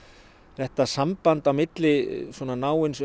þetta samband á milli svona náins